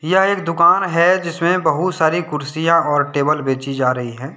यह एक दुकान है जिसमे बहुत सारी कुर्सियां और टेबल बेची जा रही हैं।